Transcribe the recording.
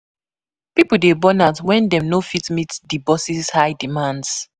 Pipo dey burn out wen dem no fit meet dem boss's high demands.